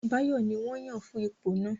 Báyọ̀ ní wọ́n yàn fún ipò náà